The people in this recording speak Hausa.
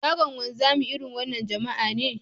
Shagon wanzami, irin wannan jama'a ne